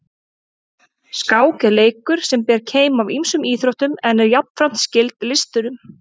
Skák er leikur sem ber keim af ýmsum íþróttum en er jafnframt skyld listunum.